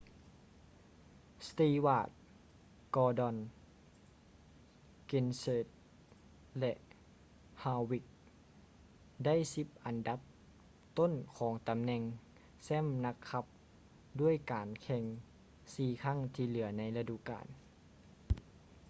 stewart gordon kenseth ແລະ harvick ໄດ້ສິບອັນດັບຕົ້ນຂອງຕໍາແໜ່ງແຊ້ມນັກຂັບດ້ວຍການແຂ່ງສີ່ຄັ້ງທີ່ເຫຼືອໃນລະດູການ